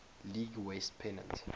league west pennant